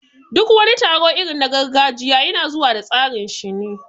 Duk wani taro irin na gargajiya yana zuwa da tsarinshi ne